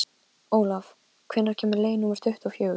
Olav, hvenær kemur leið númer tuttugu og fjögur?